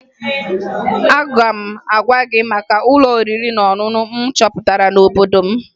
Aga m agwa gị maka ụlọ oriri na ọṅụṅụ m chọpụtara n'obodo m